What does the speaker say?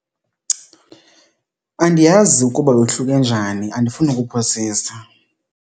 Andiyazi ukuba yohluke njani andifuni ukuphosisa.